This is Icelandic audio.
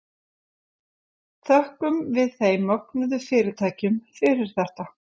Þökkum við þeim mögnuðu fyrirtækjum fyrir þetta.